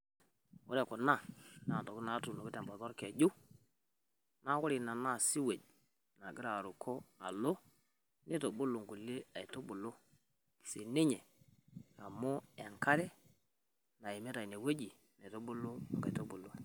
Ore kuna, naa intokitin natunoki tembata olkeju, naa ore ina naa sewage nagira aruko alo, neitubulu nkutiti aitubulu siininye amu enkare naimita ine weji naitubulu inkaitubulu.